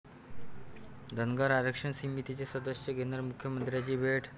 धनगर आरक्षण समितीचे सदस्य घेणार मुख्यमंत्र्यांची भेट